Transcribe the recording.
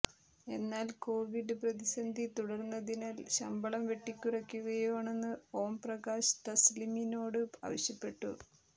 എന്നാൽ കൊവിഡ് പ്രതിസന്ധി തുടർന്നതിനാൽ ശമ്പളം വെട്ടികുറക്കുകയാണെന്ന് ഓംപ്രകാശ് തസ്ലിമിനോട് ആവശ്യപ്പെട്ടു